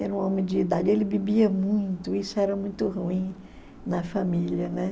Era um homem de idade, ele bebia muito, isso era muito ruim na família, né?